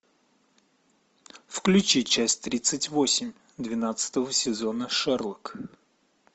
включи часть тридцать восемь двенадцатого сезона шерлок